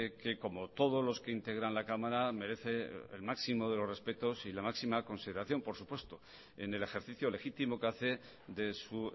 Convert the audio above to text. que como todos los que integran la cámara merece el máximo de los respetos y la máxima consideración por supuesto en el ejercicio legítimo que hace de su